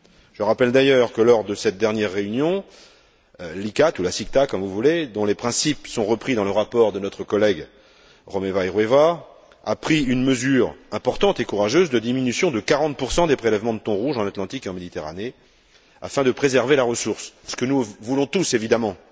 Je rappelle d'ailleurs que, lors de cette dernière réunion, l'ICCAT ou la CICTA, comme vous voulez dont les principes sont repris dans le rapport de notre collègue Romeva i Rueva, a pris une mesure importante et courageuse de diminution de 40 des prélèvements de thon rouge en Atlantique et en Méditerranée afin de préserver la ressource, ce que nous voulons tous évidemment.